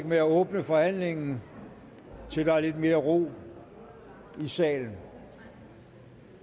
med at åbne forhandlingen til der er lidt mere ro i salen